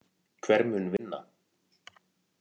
Hver mun vinna?!!!